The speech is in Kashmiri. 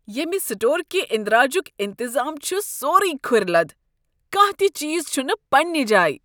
ییٚمہ سٹور كہِ اندراجک انتظام چھُ سورُے كھُرِ لد ۔ کانٛہہ تِہ چیٖز چھُنہٕ پنٛنہِ جایہِ۔